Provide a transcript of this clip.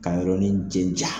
Ka yɔrɔnin jɛja.